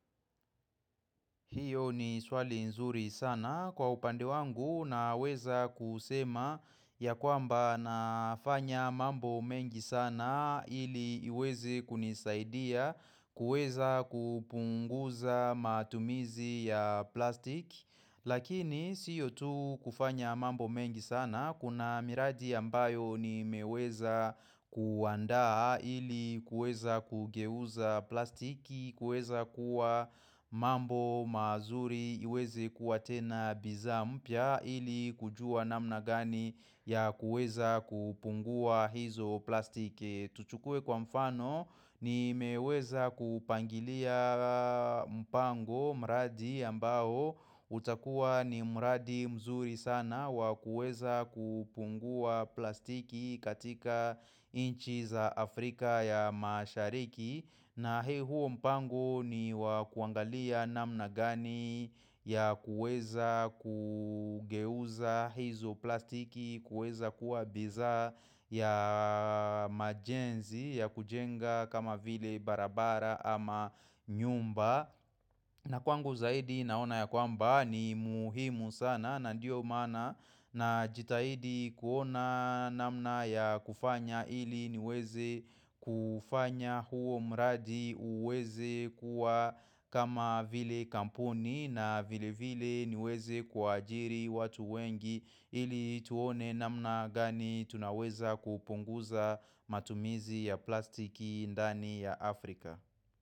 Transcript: Hiyo ni swali nzuri sana kwa upande wangu naweza kusema ya kwamba nafanya mambo mengi sana ili iweze kunisaidia kuweza kupunguza matumizi ya plastiki. Lakini siyo tu kufanya mambo mengi sana, kuna miradi ambayo nimeweza kuandaa ili kuweza kugeuza plastiki, kuweza kuwa mambo mazuri, iweze kuwa tena bidhaa mpya ili kujua namna gani ya kuweza kupunguza hizo plastiki. Tuchukue kwa mfano nimeweza kupangilia mpango mradi ambao utakuwa ni mradi mzuri sana wa kuweza kupunguza plastiki katika nchi za Afrika ya mashariki na huo mpango ni wa kuangalia namna gani ya kuweza kugeuza hizo plastiki, kueza kuwa bidhaa ya majenzi ya kujenga kama vile barabara ama nyumba. Na kwangu zaidi naona ya kwamba ni muhimu sana na ndio maana najitahidi kuona namna ya kufanya ili niweze kufanya huo mradi uweze kuwa kama vile kampuni na vile vile niweze kuwaajiri watu wengi ili tuone namna gani tunaweza kupunguza matumizi ya plastiki ndani ya Afrika.